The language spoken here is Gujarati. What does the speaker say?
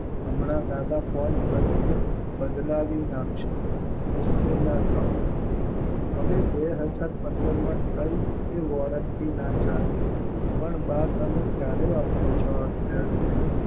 હમણાં દાદા ફોન કરશે બદલાવી નાખશુ ગુસ્સે ન થાવ હવે બે હજાર પંદરમાં કઈ એ warranty ચાલે પણ બા તમે ક્યારે વાપરો ચો આ ચેડમેન